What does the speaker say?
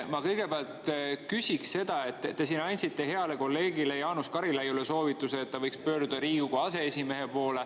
Ma kõigepealt küsiks selle kohta, et te andsite heale kolleegile Jaanus Karilaiule soovituse, et ta võiks pöörduda Riigikogu aseesimehe poole.